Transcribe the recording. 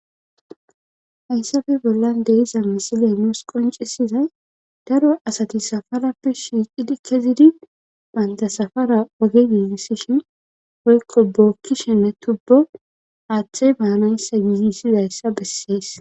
hayssafe bollan deiza misiliya nuus qoncisizay daro asati safarappe shiiqidi kezidi bantasafara oge yiigisishin woykko bookkishenne tubbo aaththey baanayssa yiigisidayssa bessees